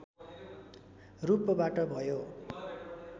रूपबाट भयो